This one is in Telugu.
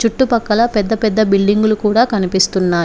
చుట్టూ పక్కల పెద్ద పెద్ద బిల్డింగ్ లు కూడా కనిపిస్తున్నాయి.